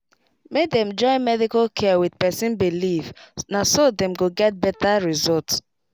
make dem join medical care with person beleive naso dem go get better results